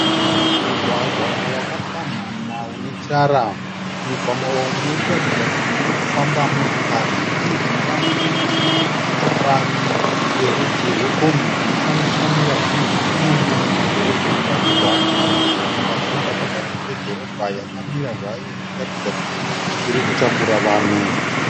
Mugwagwa wakapamhama une tara. Mugwagwa umu muri kuratidza kuti muri kufamba motokari. Nechemujinga mune imwe motokari yerudzi rwekombi dzinoshandiswa nevazhinji kunyanya mumadhorobheni vachibva kumarokesheni vachienda pakati pedhorobha yakamira zvayo ichiratidza kuti iri kutakura vanhu.